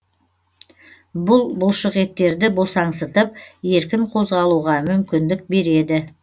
бұл бұлшықеттерді босаңсытып еркін қозғалуға мүмкіндік береді